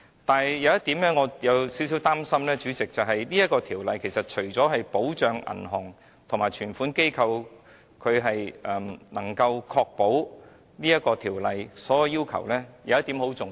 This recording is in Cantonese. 但是，主席，我有少許擔心的一點是，《條例草案》除了確保銀行及接受存款機構能夠符合條例的所有要求外，有一點是很重要的。